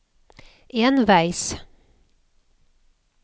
enveis